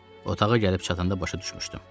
Otağa gəlib çatanda başa düşmüşdüm.